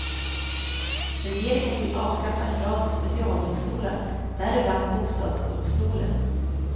Regeringen vill avskaffa en rad specialdomstolar, däribland bostadsdomstolen.